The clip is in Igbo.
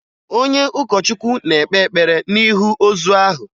Onye ụkọchukwu na-ekpe ekpere n'ihu ozu ahụ